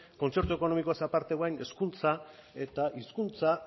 kontzertu ekonomikoaz aparte orain hezkuntza eta hizkuntza